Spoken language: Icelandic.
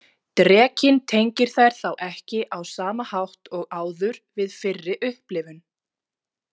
Drekinn tengir þær þá ekki á sama hátt og áður við fyrri upplifun.